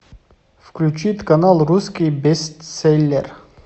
включить канал русский бестселлер